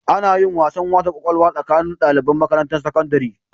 Anayin wasan wasa kwakwalwa tsakanin daliban Makarantan sakandiri